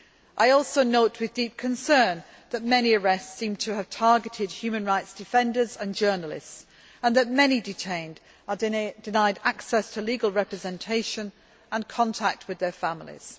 I also note with deep concern that many arrests seem to have targeted human rights defenders and journalists, and that many detained are denied access to legal representation and contact with their families.